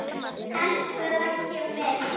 Elsku Raggi minn!